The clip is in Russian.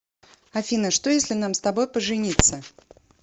афина что если нам с тобой пожениться